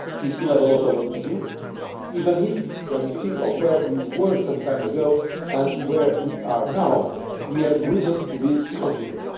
term. We still have a lot of work to do, even if when you think of where we were some time ago and where we are now we have reason to be confident.